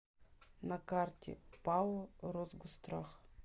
на карте пао росгосстрах